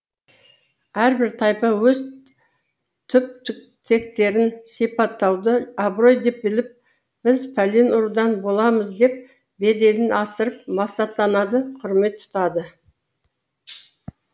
әрбір тайпа өз түп тектерін сипаттауды абырой деп біліп біз пәлен рудан боламыз деп беделін асырып масаттанады құрмет тұтады